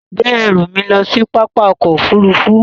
Gbé ẹ̀rù mi lọ sí pápá òkò òfúrùfú